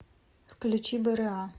включи бра